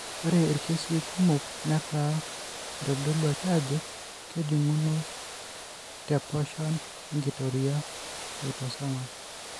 Ore irkesii kumok netaa eitodoluaki aajo kejung'uno tepashon enkitoria eautosomal.